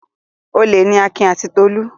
Olè ni Akin àti Tolú.